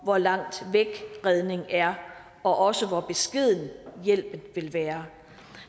hvor langt væk redning er og også hvor beskeden hjælpen vil være